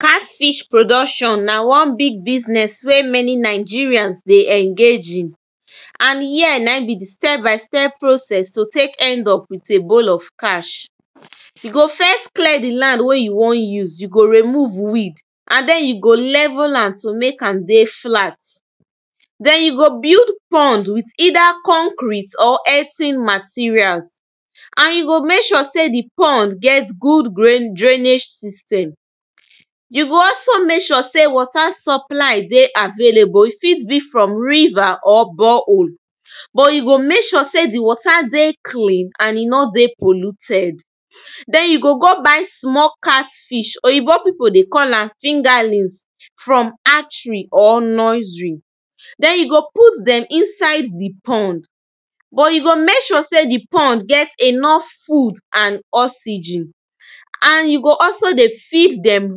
cat fish production na one big business wey many nigerians dey engage in and here na im be de step by step process to take end up with a bowl of cash you go first clear de land wey you want use you go remove weed and den you go level am to make am dey flat den you go build pond with eida concrete or earthen materials and you go make sure sey de pond get good gran drained system you go all so make sure sey water supply de available e fit be from river or bore hole but you go make sure sey dey water de clean and e no de polluted den you go go buy small cat fish oyibo people dey call am fingerlins from artry or nursery den you go put dem inside de pond but you go make sure sey de pond get enough food and oxygen and you go also dey fix dem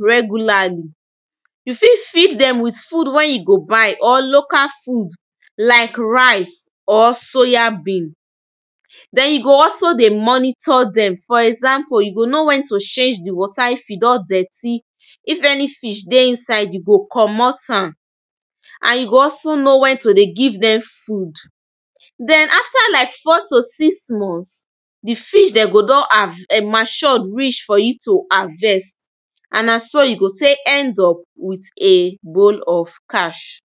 regularly you fit feed dem with food wey you go buy or local food like rice or soya bean den you go also dey monitor dem for example you go know wen to change de water if e don dirty if any fish dey inside you go comot am and you go also know wen to dey give dem food den afta like four to six months de fish go dem um don mature reach for you to harvest and na so you go take end up with a bowl of cash